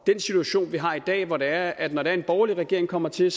den situation vi har i dag hvor det er at når en borgerlig regering kommer til